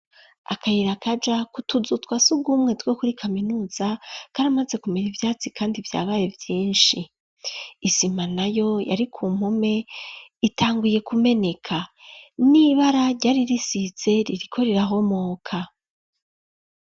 Akayirakaja kutuzutwa si ugwumwe two kuri kaminuza karamaze kumera ivyatsi, kandi vyabaye vyinshi isima na yo yari ku mpume itanguye kumeneka n'ibara ryari risise ririko rirahomoka.